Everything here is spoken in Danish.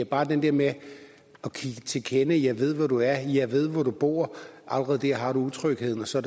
bare det der med at give til kende jeg ved hvor du er jeg ved hvor du bor allerede der har du utrygheden og så